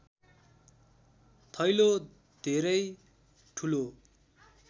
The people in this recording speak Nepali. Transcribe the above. थैलो धेरै ठूलो